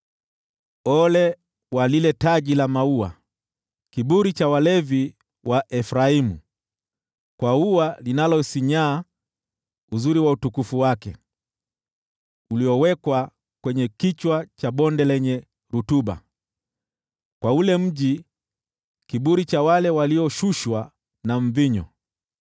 Ole kwa lile taji la maua, kiburi cha walevi wa Efraimu, kwa ua linalosinyaa, uzuri wa utukufu wake, uliowekwa kwenye kichwa cha bonde lenye rutuba: kwa ule mji, kiburi cha wale walioshushwa na mvinyo!